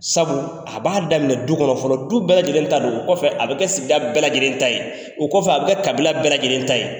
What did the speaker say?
Sabu a b'a daminɛ du kɔnɔ fɔlɔ, du bɛɛ lajɛlen ta don , o kɔfɛ a bɛ kɛ sigida bɛɛ lajɛlen ta ye , o kɔfɛ a bɛ kɛ kabila bɛɛ lajɛlen ta ye.